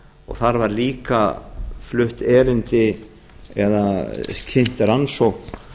þar var líka flutt erindi eða kynnt rannsókn